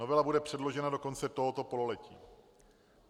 Novela bude předložena do konce tohoto pololetí.